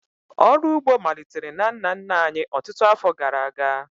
Ọrụ ugbo malitere na nna nna anyị ọtụtụ afọ gara aga